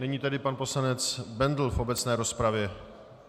Nyní tedy pan poslanec Bendl v obecné rozpravě.